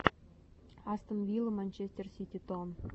астон вилла манчестер сити тон